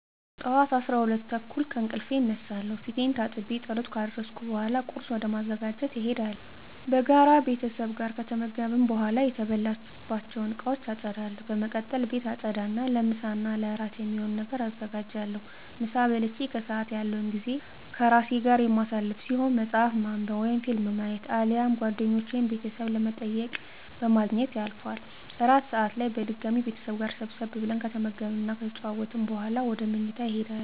ጠዋት 12:30 ከእንቅልፌ እነሳለሁ። ፊቴን ታጥቤ ፀሎት ካደረስኩ በኃላ ቁርስ ወደ ማዘጋጀት እሄዳለሁ። በጋራ ቤተሰብ ጋር ከተመገብን በኃላ የተበላባቸውን እቃወች አፀዳለሁ። በመቀጠል ቤት አፀዳ እና ለምሳ እና እራት የሚሆን ነገር አዘጋጃለሁ። ምሳ በልቼ ከሰአት ያለው ጊዜ ከራሴ ጋር የማሳልፈው ሲሆን መፀሀፍ በማንብ ወይም ፊልም በማየት አሊያም ጓደኞቼን ወይም ቤተሰብ በመጠየቅ በማግኘት ያልፋል። እራት ሰአት ላይ በድጋሚ ቤተሰብ ጋር ሰብሰብ ብለን ከተመገብን እና ከተጨዋወትን በኃላ ወደ ምኝታ እሄዳለሁ።